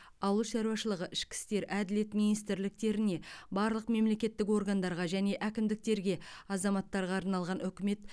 ауыл шаруашылығы ішкі істер әділет министрліктеріне барлық мемлекеттік органдарға және әкімдіктерге азаматтарға арналған үкімет